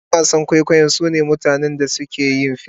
Yan wasan kwaikwayo sune mutanen da suke yin fim..